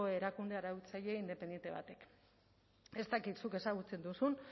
erakunde arautzaile independente batek ez dakit zuk ezagutzen duzun